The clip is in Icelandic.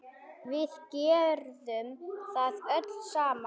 Við gerðum það öll saman.